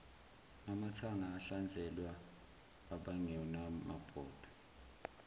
amathanga ahlanzela abangenamabhodwe